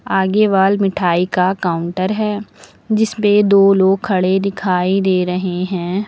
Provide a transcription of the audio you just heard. आगे वाल मिठाई का काउंटर है जिस पे दो लोग खड़े दिखाई दे रहे हैं।